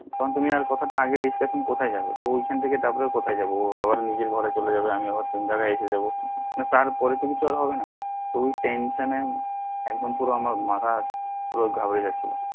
তখন তুমি আগে discussion এ কোথায় যাবে তো ওইখান থাকে আবার কোথায় যাবো ও আবার নিজের ঘরে চলে যাবে আমি আবার এসেযাব তারপরে তো কিছু আর হবে না ওই tension এ একদম পুরো আমার মাথা পুরো ঘাবড়ে যাচ্ছিলো